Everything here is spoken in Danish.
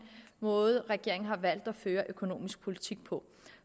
måde regeringen har valgt at føre økonomisk politik på